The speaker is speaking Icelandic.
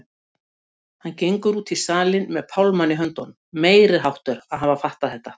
Hann gengur út í salinn með pálmann í höndunum, meiriháttar að hafa fattað þetta!